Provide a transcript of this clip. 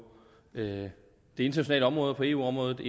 det internationale område på eu området